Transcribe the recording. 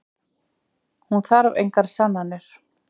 Hún þarf engar sannanir.